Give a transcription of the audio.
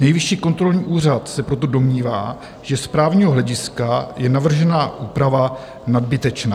Nejvyšší kontrolní úřad se proto domnívá, že z právního hlediska je navržená úprava nadbytečná.